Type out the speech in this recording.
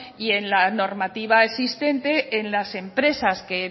y en la normativa existente en las empresas que